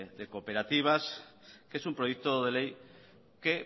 de cooperativas que es un proyecto de ley que